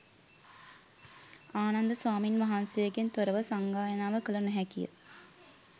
ආනන්ද ස්වාමීන් වහන්සේගෙන් තොරව සංගායනාව කළ නොහැකිය.